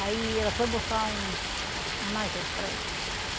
Aí ela foi buscar um analgésico para ele.